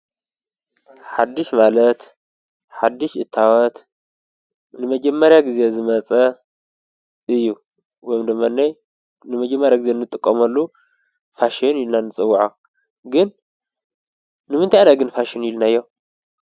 ሓድሽ ማለት ሓድሽ እታወት ንመጀማርያ ጊዜ ዝመጸ እዩ። ወይድማ ንመጀማርያ ጊዜ እንጥቆመሉ ፋሸን ኢልና ንጸውዖ። ግን ንምንታይ ኢና ግን ፋሽን ኢይልናዮ?